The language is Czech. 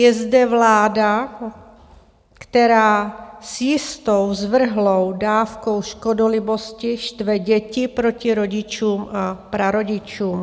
Je zde vláda, která s jistou zvrhlou dávkou škodolibosti štve děti proti rodičům a prarodičům.